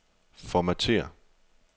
Formatér.